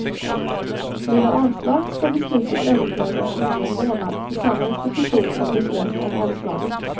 Blir det avslag ska beslutet överklagas inom en månad till samma institution som beslöt om avslaget.